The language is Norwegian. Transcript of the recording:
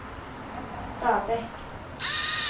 Stabekk